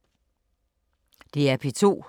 DR P2